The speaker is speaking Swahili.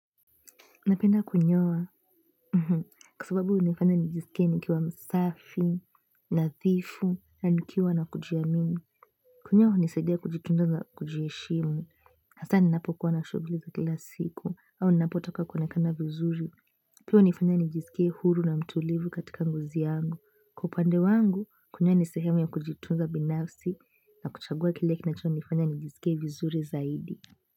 Napenda kunyowa, kwa sababu hunifanya nijiskie nikiwa msafi, nathifu, na nikiwa na kujiamini. Kunyowa hunisaidia kujitunza na kujiheshimu, hasa ninapokuwa na shuguli za kila siku, au ninapotaka kuonekana vizuri. Pis hunifanya nijisikie huru na mtulivu katika ngozi yangu. Kwa upande wangu kunyoa ni sehemu ya kujitunza binafsi na kuchagua kile kinachonifanya nijiskie vizuri zaidi.